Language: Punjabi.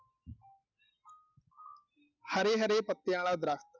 ਹਰੇ-ਹਰੇ ਪੱਤਿਆਂ ਆਲਾ ਦਰੱਖਤ